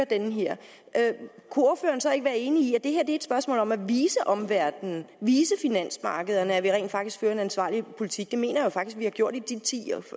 det her kunne ordføreren så ikke være enig i at det her er et spørgsmål om at vise omverdenen vise finansmarkederne at vi rent faktisk fører en ansvarlig politik jeg mener faktisk